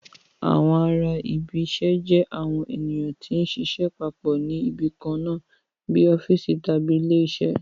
Àwọn ará ibi iṣẹ́ jẹ́ àwọn ènìyàn tí ń ṣiṣẹ́ papọ̀ ní ibi kan náà bíi ọ́fíìsì tàbí ilé iṣẹ́